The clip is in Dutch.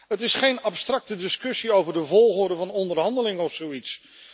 Het is geen abstracte discussie over de volgorde van onderhandeling of zoiets.